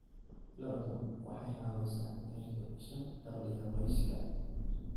Lo'du waxay caawisaa inay kordhiso dakhliga qoyska.